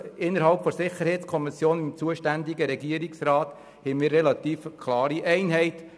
Innerhalb der SiK bildeten wir zusammen mit dem Regierungsrat eine relativ klare Einheit.